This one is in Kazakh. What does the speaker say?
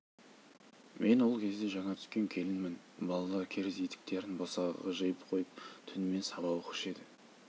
мен ол кезде жаңа түскен келінмін балалар керзі етіктерін босағаға жиып қойып түнімен сабақ оқушы еді